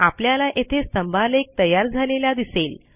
आपल्याला येथे स्तंभालेख तयार झालेला दिसेल